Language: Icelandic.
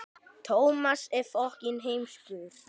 Ekki segir hún.